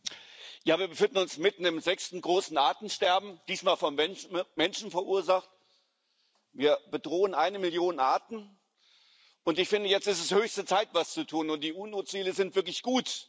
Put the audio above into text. Herr Präsident! Wir befinden uns mitten im sechsten großen Artensterben, diesmal vom Menschen verursacht. Wir bedrohen eine Million Arten, und ich finde, jetzt ist es höchste Zeit, etwas zu tun, und die UN Ziele sind wirklich gut.